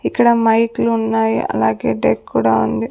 ఇక్కడ మైక్ లున్నాయి అలాగే డెక్ కూడా ఉంది.